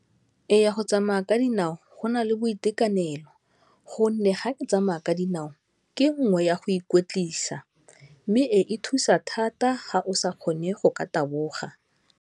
Eya, go tsamaya ka dinao go na le boitekanelo gonne ga ke tsamaya ka dinao ke nngwe ya go ikotlisa mme e thusa thata ga o sa kgone go ka taboga.